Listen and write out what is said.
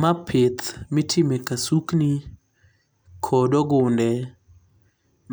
Ma pith mitimo e kasukni kod ogunde